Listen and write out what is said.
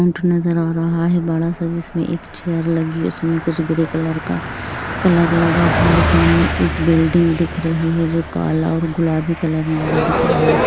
उंड नज़र आ रहा है बड़ा सा जिसमे एक चेयर लगी है उसमे कुछ ग्रे कलर का कलर लगा हुआ है सामने एक बिल्डिंग दिख रही है जो काला और गुलाबी कलर लगा दिखा रहा है।